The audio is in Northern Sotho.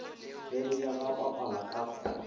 bene ya ga papala ka